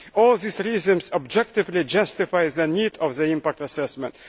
All these reasons objectively justify the need for the impact assessment.